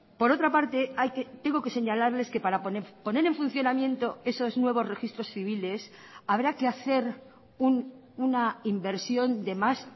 por otra parte tengo que señalarles que para poner en funcionamiento esos nuevos registros civiles habrá que hacer una inversión de más